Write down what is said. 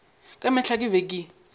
ka mehla ke be ke